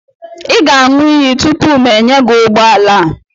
ị ga-aṅụ iyi tupu m enye gị ụgbọ ala a